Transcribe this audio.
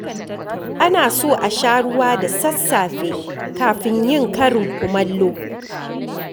Ana so a sha ruwa da sassafe kafin yin karin kumallo.